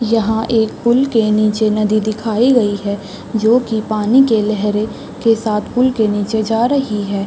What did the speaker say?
यहाँ एक पूल के नीचे नदी दिखाई गई हैं जो की पानी के लहरे के साथ पूल के नीचे जा रही है।